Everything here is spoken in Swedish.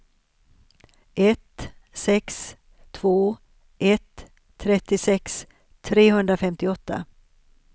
ett sex två ett trettiosex trehundrafemtioåtta